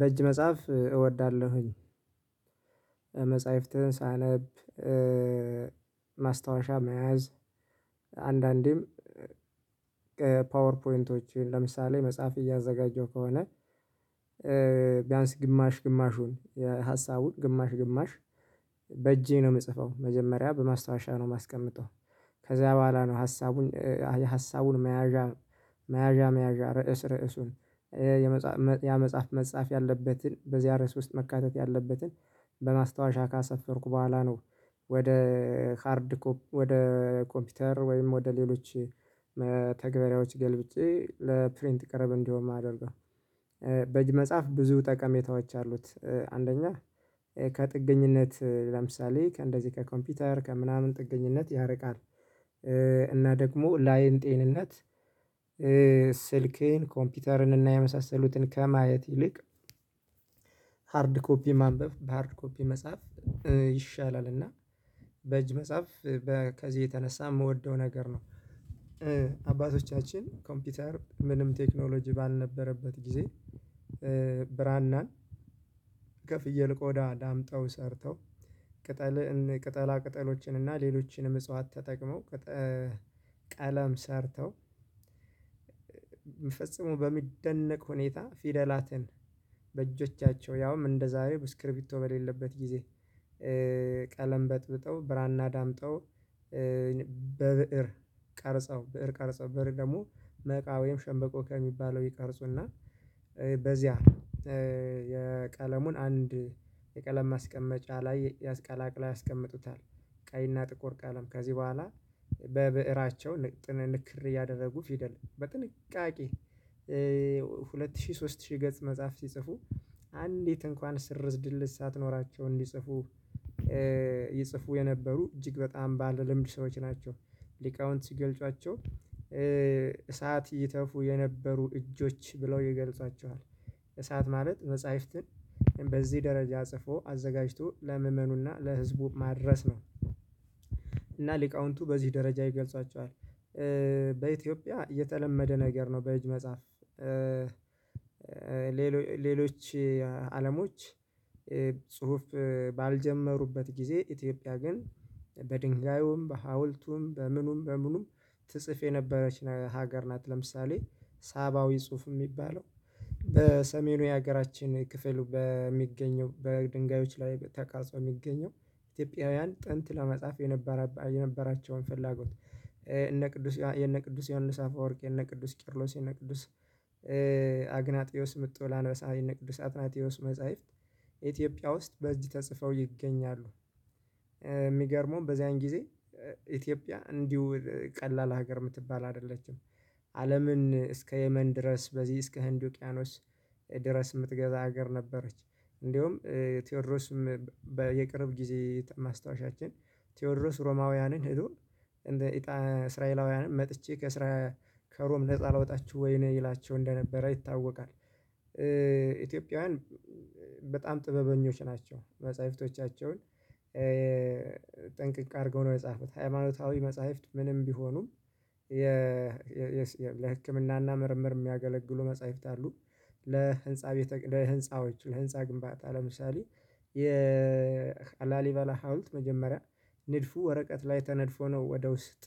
በእጅ መጻፍ እወዳለሁኝ። መጽህፍትን ሳነብ ማስታወሻ መያዝ አንዳንዴም ፓወር ፖይንቶችን ለምሳሌ መጽሐፍ እያዘጋጀው ከሆነ። ቢያንስ ግማሽ ግማሹን የሀሳቡን ግማሽ ግማሽ በእጄ ነው የምጽፈው መጀመሪያ በማስታወሻ ነው የማስቀምጠው። ከዛ በኋላ ነው ሀሳቡን አይ ሀሳቡን መያዣ መያዣ መያዣ ርዕስ ርዕሱን ያ መጽሐፍ መጻፍ ያለበትን በዚያ ርዕስ ውስጥ መካተት ያለበትን በማስታወሻ ካሳፈርኩ በኋላ ነው። ወደ ሃርድ ኮፒ ወደ ኮምፒውተር ወይም ወደ ሌሎች ተግባሪዎች ገልብጬ ለፕሪንት ቅርብ እንደሆን ማደርገው። በእጅ መጻፍ ብዙ ጠቀሜታዎች አሉት። አንደኛ ከጥገኝነት ለምሳሌ ከእንደዚህ ከኮምፒውተር ከምናምን ጥገኝነት ያርቃል። እና ደግሞ ለአይን ጤንነት። ስልክን ኮምፒውተርን እና የመሳሰሉትን ከማየት ይልቅ ሃርድ ኮፒ ማንበብ በሃርድ ኮፒ መጻፍ ይሻላል። እና በእጅ መጻፍ በከዚህ የተነሳ የምወደው ነገር ነው። አባቶቻችን ኮምፒውተር ምንም ቴክኖሎጂ ባልነበረበት ጊዜ። ብራናን ከፍየል ቆዳ ዳምጠው ሰርተው ቅጠልን ቅጠላ ቅጠሎችን እና ሌሎችንም እጽዋት ተጠቅመው ቀለም ሰርተው ፍጹሞ በሚደነቅ ሁኔታ ፊደላትን በእጆቻቸው ያውም እንደዛሬ እስክርቢቶ በሌለበት ጊዜ። ቀለም በጥብጠው ብራና ዳምጠው በብእር ቀርጸው ብእር ቀርጻው ብእር ደግሞ መቃ ወይም ሸምበቆ ከሚባለው ይቀርጹና በዚያ የቀለሙን አንድ የቀለም ማስቀመጫ ላይ ያስቀላቅላ ያስቀምጡታል። ቀይና ጥቁር ቀለም ከዚህ በኋላ በብዕራቸው ልጥን ንክር እያደረጉ ፊደል በጥንቃቄ ሁለት ሺህ ሶስት ሺህ ገጽ መጽሐፍ ሲጽፉ አንዲት እንኳን ስርዝ ድልዝ ሳትኖራቸው እንዲጽፉ። ይጽፉ የነበሩ እጅግ በጣም ባለ ልምድ ሰዎች ናቸው። ሊቃውንት ሲገልጿቸው እሳት ይተፉ የነበሩ እጆች ብለው ይገልጻቸዋል እሳት ማለት መጽሐፍትን በዚህ ደረጃ ጽፎ አዘጋጅቶ ለመእመኑ እና ለህዝቡ ማድረስ ነው። እና ሊቃውንቱ በዚህ ደረጃ ይገልጻቸዋል። በኢትዮጵያ የተለመደ ነገር ነው በእጅ መጻፍ። ሌሎች አለሞች ጽሁፍ ባልጀመሩበት ጊዜ ኢትዮጵያ ግን በድንጋዩም በሀውልቱም በምኑም በምኑም ትጽፍ የነበረች ሀገር ናት። ለምሳሌ ሳባዊ ጽሁፍ የሚባለው በሰሜኑ የሀገራችን ክፍሉ በሚገኘው በድንጋዮች ላይ ተቃርጾ የሚገኘው። ኢትዮጵያውያን ጥንት ለመጻፍ የነበራቸውን ፍላጎት እነ ቅዱስ የነ ቅዱስ ዮሐንስ አፍወርቂ የነ ቅዱስ ቂርሎስ የነ ቅዱስ አግናጥዮስ ምጡ ለአንበሳዊ እነቅዱስ ሳጥናቴዎስ መጽሐፍት ኢትዮጵያ ውስጥ በዚህ ተጽፈው ይገኛሉ። የሚገርመው በዚያን ጊዜ ኢትዮጵያ እንዲሁ ቀላል ሀገር የምትባል አይደለችም። አለምን እስከ የመን ድረስ በዚህ እስከ ህንድ ውቅያኖስ ድረስ የምትገዛ ሀገር ነበረች። እንደውም ቴዎድሮስም በየቅርብ ጊዜ ማስታወሻችን ቴዎድሮስ ሮማውያንን ሄዶ እንደ እጣ እስራኤላውያን መጥቼ ከስራ ከሮም ነፃ ላወጣችሁ ወይ እኔ ይላቸው እንደነበረ ይታወቃል። ኢትዮጵያውያን በጣም ጥበበኞች ናቸው። መጽሐፍቶቻቸውን ጠንቅቅ አድርገው ነው የጻፉት ሃይማኖታዊ መጽሐፍት ምንም ቢሆኑም የ ለህክምናና ምርምር የሚያገለግሉ መጽሐፍት አሉ። ለህንፃ ለህንፃዎች ለህንፃ ግንባታ ለምሳሌ የ የላሊበላ ሀውልት መጀመሪያ ንድፉ ወረቀት ላይ ተነድፎ ነው ወደ ውስጥ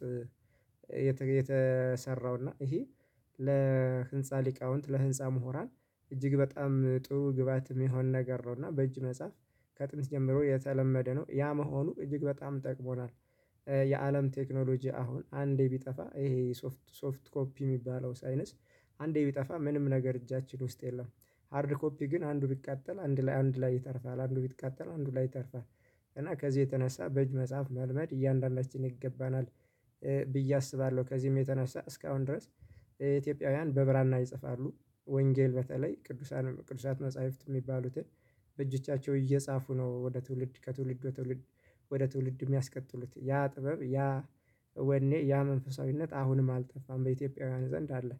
የተሰራው። እና ይሄ ለህንፃ ሊቃውንት ለህንፃ ሙሁራን እጅግ በጣም ጥሩ ግብአትም የሚሆን ነገር ነው። እና በእጅ መጽሐፍ ከጥንት ጀምሮ የተለመደ ነው ያ መሆኑ እጅግ በጣም ጠቅሞናል። የአለም ቴክኖሎጂ አሁን አንዴ ቢጠፋ ይሄ ሶፍት ሶፍት ኮፒ የሚባለው ሳይነስ አንዴ ቢጠፋ ምንም ነገር እጃችን ውስጥ የለም። ሃርድ ኮፒ ግን አንዱ ቢቃጠል አንዱ ላይ አንዱ ላይ ይተርፋል አንዱ ቢቃጠል አንዱ ላይ ይተርፋል። እና ከዚህ የተነሳ በእጅ መጽሐፍ መልመድ እያንዳንዳችን ይገባናል። ብዬ አስባለሁ ከዚህም የተነሳ እስካሁን ድረስ ኢትዮጵያውያን በብራና ይጽፋሉ። ወንጌል በተለይ ቅዱሳን ቅዱሳት መጽሐፍት የሚባሉትን በእጅቻቸው እየጻፉ ነው ወደ ትውልድ ከትውልድ ወደ ትውልድ ወደ ትውልድ የሚያስቀጥሉት ያ ጥበብ ያ ወኔ ያ መንፈሳዊነት አሁንም አልጠፋም በኢትዮጵያውያን ዘንድ አለ።